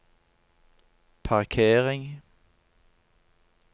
parkering